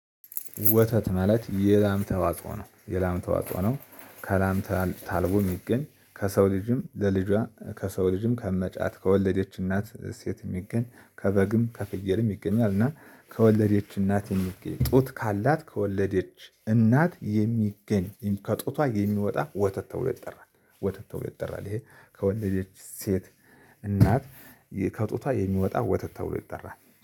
ወተት ማለት የላም ተዋጽኦ ነው የላም ተዋጽኦ ነው። ከላም ታአልቦ የሚገኝ ከሰው ልጅም ለልጇ ከሰው ልጅም ከመጫት ከወለዴች እናት ከሴት የሚገኝ ከበግም ከፍየልም ይገኛል። እና ከወለደች እናት የሚገኝ ጡት ካላት ከወለደች እናት የሚገኝ ከጡቷ የሚወጣ ወተት ተብሎ ይጠራል። ወተት ተበሎ ይጠራል። ይሄ ከወለደች ሴት እናት ከጡቷ የሚወጣ ወተት ተብሎ ይጠራል።